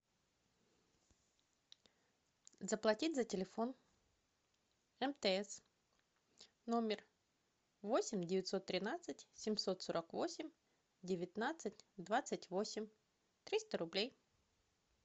заплатить за телефон мтс номер восемь девятьсот тринадцать семьсот сорок восемь девятнадцать двадцать восемь триста рублей